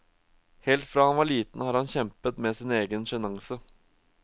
Helt fra han var liten har han kjempet med sin egen sjenanse.